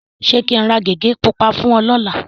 Ṣé kí n ra gègé pupa fún ẹ lọ́la?